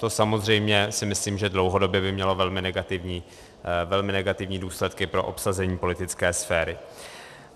To samozřejmě si myslím, že dlouhodobě by mělo velmi negativní důsledky pro obsazení politické sféry.